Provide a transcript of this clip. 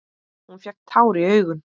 Hún fékk tár í augun.